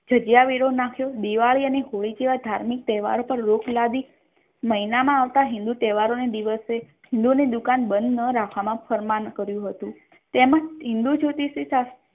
જગ્યા વિરોહ નાખ્યો દિવાળી અને હોળી સિવાય ધાર્મિક તહેવાર પર રોક લાગી મહિના મા આવતા હિન્દૂ તહેવાર ના દિવસે હિંદુઓ ની દુકાન બંધ ન રાખવાનુ ફરમાન કર્યું હતુ તેમજ હિન્દૂ જ્યોતિષી શાસ્ત્ર